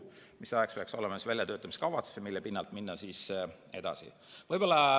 Selleks ajaks peaks olema olemas väljatöötamiskavatsus, mille pinnalt edasi minna.